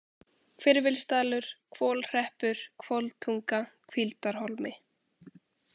Hvirfilsdalur, Hvolhreppur, Hvoltunga, Hvíldarholmi